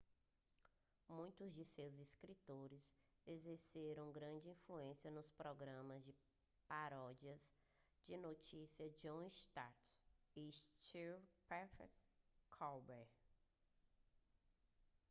muitos de seus escritores exerceram grande influência nos programas de paródias de notícias de jon stewart e stephen colbert